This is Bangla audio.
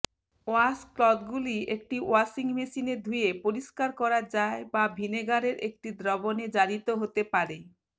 ওয়াশক্লথগুলি একটি ওয়াশিং মেশিনে ধুয়ে পরিষ্কার করা যায় বা ভিনেগারের একটি দ্রবণে জারিত হতে পারে